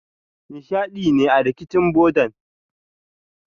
Ni shaida ne a rikicin bodan.